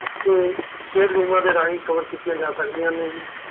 ਤੇ ਸਿਹਤ ਬੀਮੇ ਦੇ ਰਾਹੀਂ cover ਕੀਤੀਆਂ ਜਾ ਸਕਦੀਆਂ ਹਨ